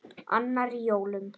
Annar í jólum.